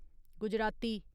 Gujarati